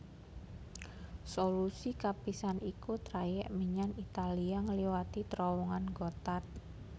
Solusi kapisan iku trayèk menyang Italia ngliwati Trowongan Gotthard